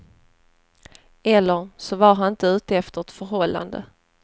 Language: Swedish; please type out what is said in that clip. Eller så var han inte ute efter ett förhållande.